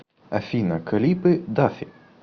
афина клипы дафи